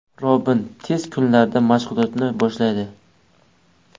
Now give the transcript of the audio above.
Robin tez kunlarda mashg‘ulotlarni boshlaydi.